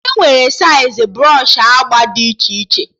Enwere saịz brsọshị agba dị iche iche